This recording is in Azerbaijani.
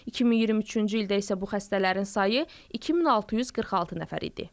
2023-cü ildə isə bu xəstələrin sayı 2646 nəfər idi.